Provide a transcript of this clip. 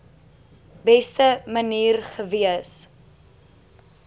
beste manier gewees